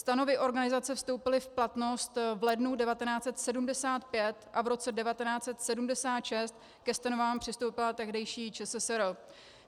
Stanovy organizace vstoupily v platnost v lednu 1975 a v roce 1976 ke stanovám přistoupila tehdejší ČSSR.